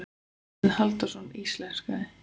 Þorsteinn Halldórsson íslenskaði.